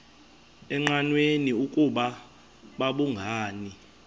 engqanweni ukuba babhungani